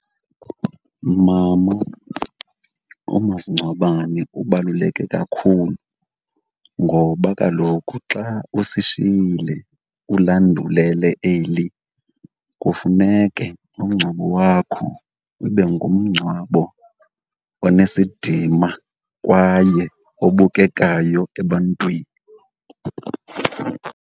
Mama, umasingcwabane ubaluleke kakhulu ngoba kaloku xa usishiyile ulandulele eli, kufuneke umngcwabo wakho ube ngumncwabo onesidima kwaye obukekayo ebantwini.